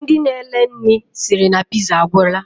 Ndi na ele nri siri na piza, agwura.